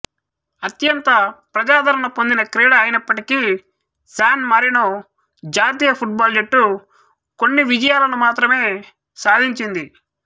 అత్యంత ప్రజాదరణ పొందిన క్రీడ అయినప్పటికీ శాన్ మారినో జాతీయ ఫుట్బాల్ జట్టు కొన్ని విజయాలను మాత్రమే సాధించింది